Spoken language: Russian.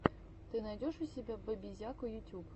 ты найдешь у себя бэбизяку ютюб